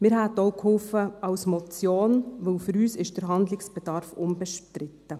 Wir hätten auch bei einer Motion geholfen, denn für uns ist der Handlungsbedarf unbestritten.